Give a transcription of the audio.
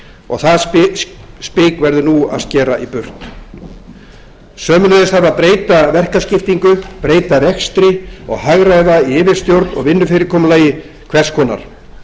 og það spik verður nú að skera í burt sömuleiðis þarf að breyta verkaskiptingu breyta rekstri og hagræða í yfirstjórn og vinnufyrirkomulagi hvers konar